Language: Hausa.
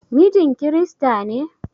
Mijin kirista ne?